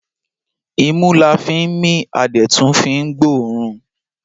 Imú la fín mí a dẹ̀ tún fín gbọ́ ọ̀ọ́rùn.